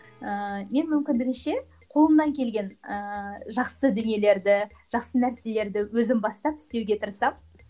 ыыы мен мүмкіндігінше қолымнан келген ыыы жақсы дүниелерді жақсы нәрселерді өзім бастап істеуге тырысамын